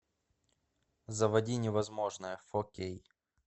заводи невозможное фор кей